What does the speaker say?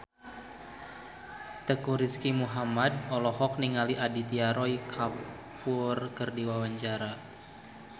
Teuku Rizky Muhammad olohok ningali Aditya Roy Kapoor keur diwawancara